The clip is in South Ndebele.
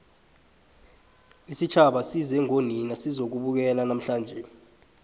isitjhaba size ngonina sizokubukela namhlanje